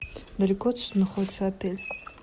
далеко отсюда находится отель